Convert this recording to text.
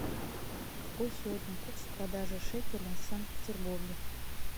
какой сегодня курс продажи шекеля в санкт петербурге